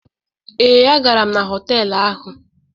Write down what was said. Ee, a gara m na họtelụ ahụ.